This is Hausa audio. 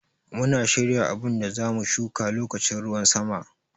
Muna shirya abun da za mu shuƙa loƙacin ruwan sama.